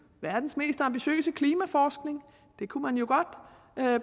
verdens mest ambitiøse klimaforskning det kunne man jo godt